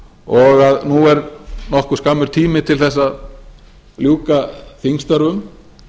og að nú er nokkuð skammur tími til þess að ljúka þingstörfum